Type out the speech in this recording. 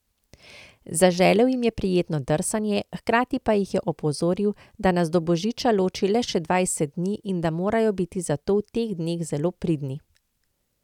Zaželel jim je prijetno drsanje, hkrati pa jih je opozoril, da nas do božiča loči le še dvajset dni in da morajo biti zato v teh dneh zelo pridni.